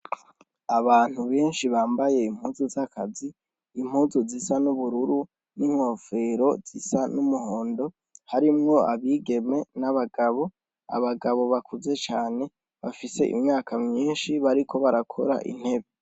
Abantu benshi bambaye impuzu z' akazi impuzu zisa n' ubururu n' inkofero zisa n' umuhondo harimwo abigeme n' abagabo, abagabo bakuze cane bafise imyaka myinshi bariko barakora intebe.